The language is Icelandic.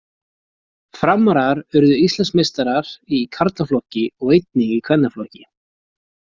Framarar urðu Íslandsmeistarar í karlaflokki og einnig í kvennaflokki.